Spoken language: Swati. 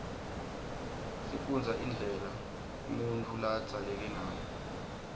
sifunbza indlela unutfu labzaleke ngayo